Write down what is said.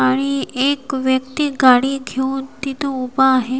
आणि एक व्यक्ती गाडी घेऊन तिथे उभा आहे.